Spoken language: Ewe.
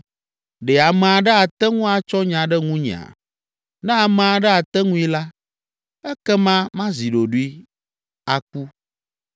Ɖe ame aɖe ate ŋu atsɔ nya ɖe ŋunyea? Ne ame aɖe ate ŋui la, ekema mazi ɖoɖoe aku.